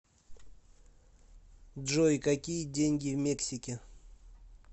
джой какие деньги в мексике